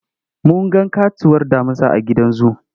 Mun ga ƙatuwar damusa a gidan zu.